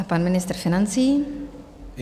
A pan ministr financí.